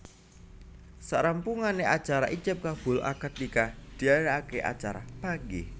Sarampunge acara ijab kabul akad nikah dianakake acara Panggih